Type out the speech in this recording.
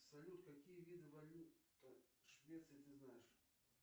салют какие виды валют швеции ты знаешь